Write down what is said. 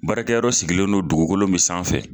Baarakɛyɔrɔ sigilen don dugukolo min sanfɛ